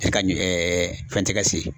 E ka ɲi fɛn tɛ ka se.